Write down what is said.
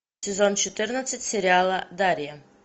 сезон четырнадцать сериала дарья